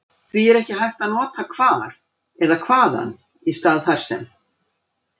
Því er ekki hægt að nota hvar eða hvaðan í stað þar sem.